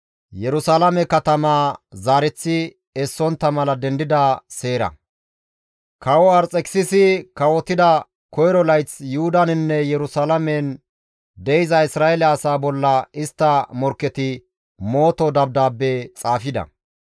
Kawo Arxekisisi kawotida koyro layth Yuhudaninne Yerusalaamen de7iza Isra7eele asaa bolla istta morkketi mooto dabdaabbe xaafida.